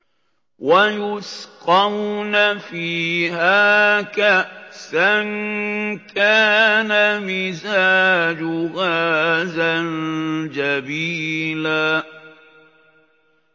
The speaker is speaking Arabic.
وَيُسْقَوْنَ فِيهَا كَأْسًا كَانَ مِزَاجُهَا زَنجَبِيلًا